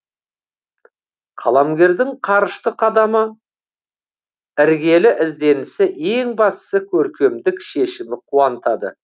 қаламгердің қарышты қадамы іргелі ізденісі ең бастысы көркемдік шешімі қуантады